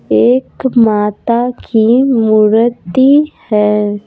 एक माता की मूर्ति है।